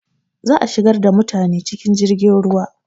Za a shigar da mutane cikin jirgin ruwa.